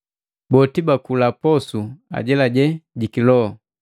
Boti bakula posu ajelaje jiki loho,